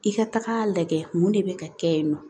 I ka taga lajɛ mun de bɛ ka kɛ yen nɔ